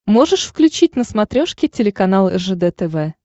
можешь включить на смотрешке телеканал ржд тв